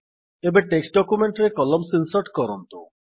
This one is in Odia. ଏବେ ଡକୁମେଣ୍ଟ ରେ କଲମ୍ସ ଇନ୍ସର୍ଟ କରନ୍ତୁ